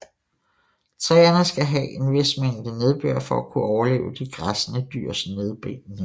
Træerne skal havde en vis mængde nedbør for at kunne overleve de græssende dyrs nedbidning